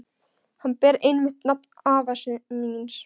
Hann ber einmitt nafn afa míns.